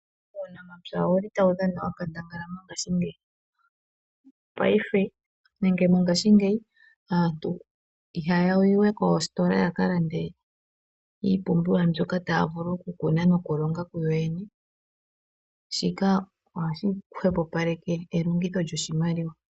Uunamapya otawu dhana onkandangala mongashingeyi. Mopaife aantu ihaya yi we koositola, opo ya ka lande iipumbiwa mbyoka taya vulu okukuna nokulonga kuyoyene. Shika ohashi hwepopaleke elongitho lyoshimaliwa.